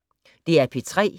DR P3